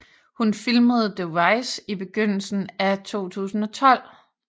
Hun filmede The Rise i begyndelsen af 2012